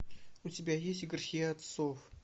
у тебя есть грехи отцов